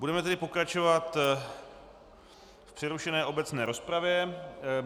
Budeme tedy pokračovat v přerušené obecné rozpravě.